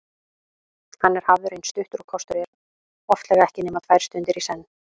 Hann er hafður eins stuttur og kostur er, oftlega ekki nema tvær stundir í senn.